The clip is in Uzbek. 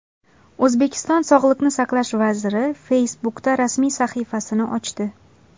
O‘zbekiston sog‘liqni saqlash vaziri Facebook’da rasmiy sahifasini ochdi.